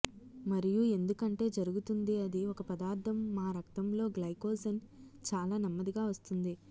మరియు ఎందుకంటే జరుగుతుంది అది ఒక పదార్ధం మా రక్తంలో గ్లైకోజెన్ చాలా నెమ్మదిగా వస్తుంది